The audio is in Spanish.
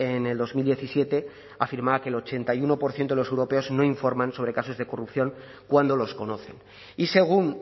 en el dos mil diecisiete afirmaba que el ochenta y uno por ciento de los europeos no informan sobre casos de corrupción cuando los conocen y según